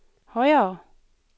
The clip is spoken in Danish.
højere